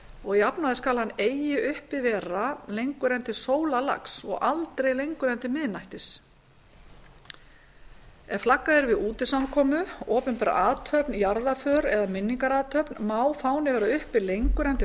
og að jafnaði skal hann eigi uppi vera lengur en til sólarlags og aldrei lengur en til miðnættis ef flaggað er við útisamkomu opinbera athöfn jarðarför eða minningarathöfn má fáni vera uppi lengur en til